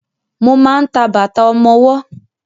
Mo máa ń ta bàtà ọmọwọ́.